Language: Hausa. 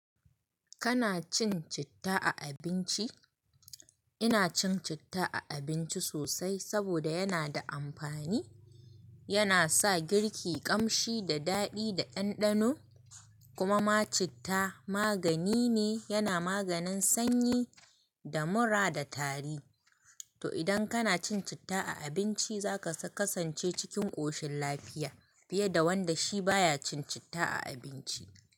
Kana cin citta a abinci? Ina cin citta a abinci sosai saboda yana da amfani, yana sa girki ƙamshi da daɗi da ɗanɗano. Kuma ma citta magani ne, yana maganin sanyi da mura da tari. To idan kana cin citta a abinci zaka kasance cikin ƙoshin lafiya fiye da wanda shi baya cin citta a abinci.